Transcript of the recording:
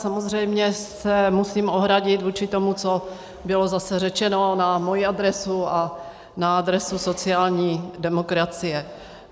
Samozřejmě se musím ohradit vůči tomu, co bylo zase řečeno na moji adresu a na adresu sociální demokracie.